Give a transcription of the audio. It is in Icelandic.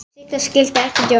Sigga skildi ekkert í okkur.